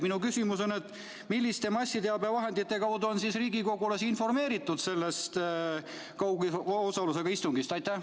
Minu küsimus on: milliste massiteabevahendite kaudu on riigikogulasi informeeritud sellest kaugosalusega istungist?